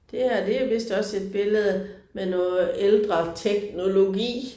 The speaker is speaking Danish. Det her det er vist også et billede med noget ældre teknologi